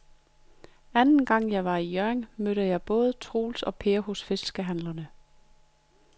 Anden gang jeg var i Hjørring, mødte jeg både Troels og Per hos fiskehandlerne.